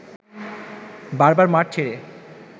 বারবার মাঠ ছেড়ে